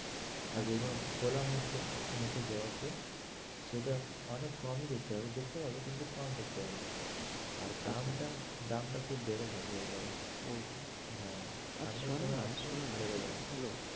আচ্ছা আচ্ছা আর যে গুলো খোলা মুখ জবা মুখে জবা ফুল সেটা অনেক কমই দেখতে পাবেন, দেখতে পাবেন কিন্তু কম দেখতে পাবে আর দামটা, দামটা খুব বেড়ে থাকবে এই বারে ও হ্যাঁ আর শোনোনা শোনানা hello